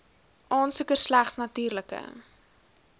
aansoeker slegs natuurlike